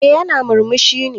Eh yana murmushi ne.